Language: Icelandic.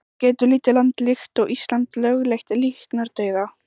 En getur lítið land líkt og Ísland lögleitt líknardauða?